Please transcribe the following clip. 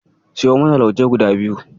Siyo mana lauje guda biyu.